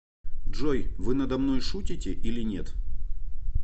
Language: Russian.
джой вы надо мной шутите или нет